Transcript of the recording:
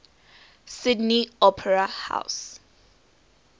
sydney opera house